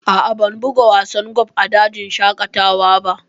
A'a, ban buga wasan golf a dajin shaƙatawa ba